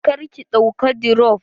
Kar ki ɗauka dirop!